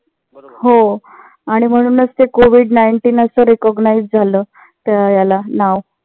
हो. आणि म्हणूनच ते COVID nineteen अस recognize झालं त्या ह्याला नाव